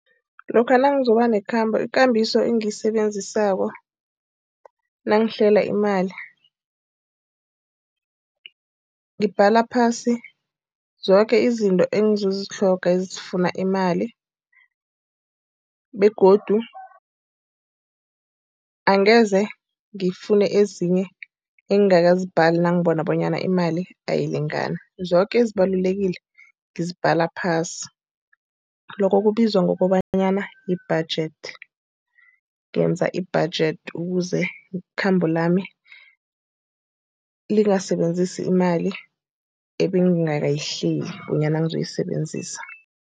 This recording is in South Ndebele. Lokha nangizoba nekhambo, ikambiso engiyisebenzisako nangihlela imali ngibhala phasi zoke izinto engizozitlhoga ezifuna imali. Begodu angeze ngifune ezinye engakazibhali nangibona bonyana imali ayilingani. Zoke ezibalulekile ngizibhala phasi. Lokho kubizwa ngokobanyana yi-budget. Ngenza i-budget ukuze ikhambo lami lingasebenzisi imali ebengingakayihleli bonyana ngizoyisebenzisa.